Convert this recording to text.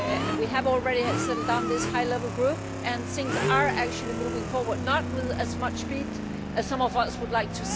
We have already set up this high level group and things are actually moving forward, though not with as much speed as some of us would like.